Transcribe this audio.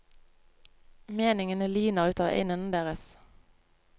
Meningene lyner ut av øynene deres.